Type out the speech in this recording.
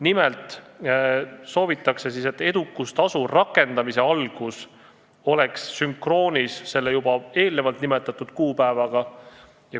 Nimelt soovitakse, et edukustasu rakendamise algus oleks sünkroonis juba eespool nimetatud kuupäevaga.